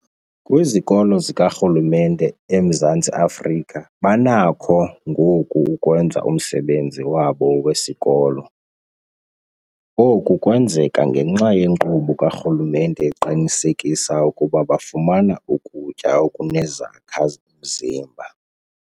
Kwizikolo zikarhulumente eMzantsi Afrika banakho ngoku ukwenza umsebenzi wabo wesikolo. Oku kwenzeka ngenxa yenkqubo karhulumente eqinisekisa ukuba bafumana ukutya okunezakha-mzimba.